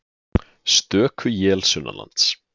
Stöku él sunnanlands